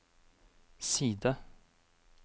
side